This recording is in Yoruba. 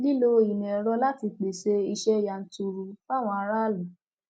lílo ìmọ ẹrọ láti pèsè iṣẹ yanturu fáwọn aráàlú